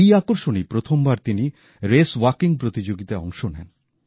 এই আকর্ষণেই প্রথম বার তিনি রেসওয়াকিং প্রতিযোগিতায় অংশ নেন